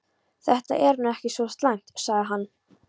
Þetta er nú ekki svo slæmt sagði hann.